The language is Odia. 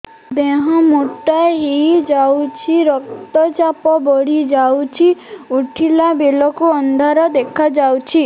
ଦେହ ମୋଟା ହେଇଯାଉଛି ରକ୍ତ ଚାପ ବଢ଼ି ଯାଉଛି ଉଠିଲା ବେଳକୁ ଅନ୍ଧାର ଦେଖା ଯାଉଛି